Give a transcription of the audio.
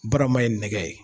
Baarama ye nɛgɛ ye.